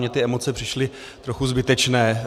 Mně ty emoce přišly trochu zbytečné.